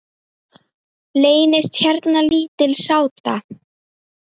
Leynist hérna lítil sáta.